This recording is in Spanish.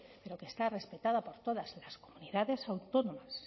pero que está respetada por todas las comunidades autónomas